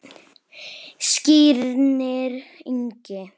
Skírnir Ingi.